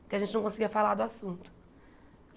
Porque a gente não conseguia falar do assunto.